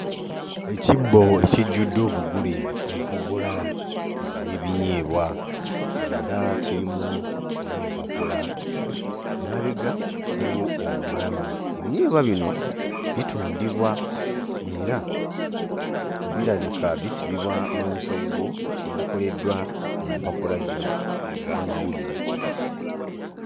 Ekibbo ekijjudde obugule empogola ez'ebinyeebwa era kirimu n'empapula. Emabega waliwo omwami, ebinyeebwa bino bitundibwa era birabika bisibibwa mu nsoggo ezikoleddwa mu mpapula zino ez'amawulire.